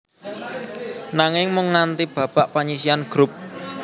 Nanging mung nganti babak panyisihan grup